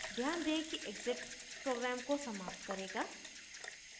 ध्यान दें कि exit program को समाप्त करेगा